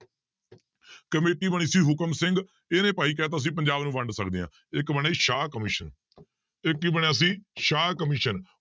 committee ਬਣੀ ਸੀ ਹੁਕਮ ਸਿੰਘ, ਇਹਨੇ ਭਾਈ ਕਹਿ ਦਿੱਤਾ ਸੀ ਪੰਜਾਬ ਨੂੰ ਵੰਡ ਸਕਦੇ ਹਾਂ, ਇੱਕ ਬਣੀ ਸ਼ਾਹ ਕਮਿਸ਼ਨ ਇੱਕ ਕੀ ਬਣਿਆ ਸੀ, ਸ਼ਾਹ ਕਮਿਸ਼ਨ